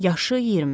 Yaşı 20.